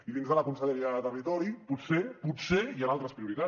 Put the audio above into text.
i dins de la conselleria de territori potser potser hi han altres prioritats